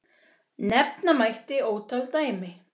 Nefna mætti ótal dæmi.